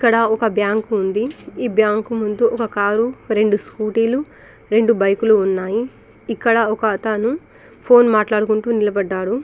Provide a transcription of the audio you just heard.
ఇక్కడ ఓక్ బ్యాంకు ఉంది ఈ బ్యాంకు ముందు ఒక కార్ రెండు స్కూటీలు రెండు బైకులు ఉన్నాయి ఇక్కడ ఒక అతను ఫోన్ మాట్లాడుతూ నిలబడ్డాడు.